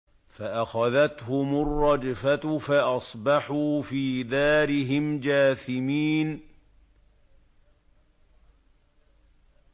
فَأَخَذَتْهُمُ الرَّجْفَةُ فَأَصْبَحُوا فِي دَارِهِمْ جَاثِمِينَ